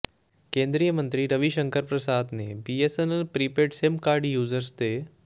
ਕੇਂਦਰੀ ਮੰਤਰੀ ਰਵਿਸ਼ੰਕਰ ਪ੍ਰਸਾਦ ਨੇ BSNL prepaid SIM card users ਦੇ